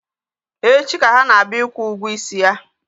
Echi ka ha na-abịa ịkwụ ụgwọ isi ya